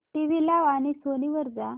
TV लाव आणि Sony वर जा